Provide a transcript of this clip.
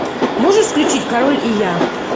можешь включить король и я